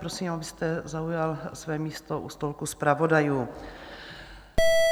Prosím, abyste zaujal své místo u stolku zpravodajů.